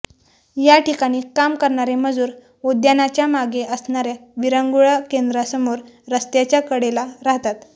याठिकाणी काम करणारे मजूर उद्यानाच्या मागे असणार्या विरंगुळा केंद्रासमोर रस्त्याच्या कडेला राहतात